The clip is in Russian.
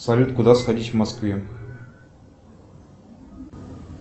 салют куда сходить в москве